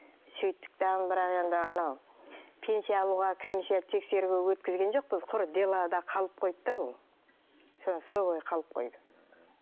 сөйттік тағы бірақ енді анау пенсия алуға комиссия тексеруге өткізген жоқпыз құр делода қалып қойды да бұл сол бойы қалып қойды